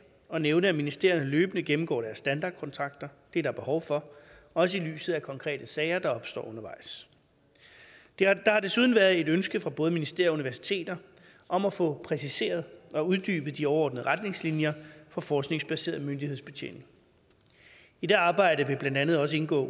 at nævne at ministerierne løbende gennemgår deres standardkontrakter det er der behov for også i lyset af konkrete sager der opstår undervejs der har desuden været et ønske fra både ministerier og universiteter om at få præciseret og uddybet de overordnede retningslinjer for forskningsbaseret myndighedsbetjening i det arbejde vil blandt andet også indgå